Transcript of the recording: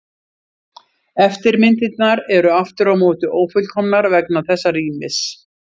Eftirmyndirnar eru aftur á móti ófullkomnar vegna þessa rýmis.